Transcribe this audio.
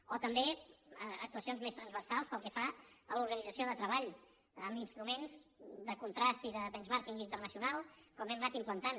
o també actuacions més transversals pel que fa a l’organització de treball amb instruments de contrast i de benchmarking internacional com hem anat implantant